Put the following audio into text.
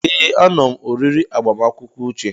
Ee, anom oriri agbamakwụkwọ Uche.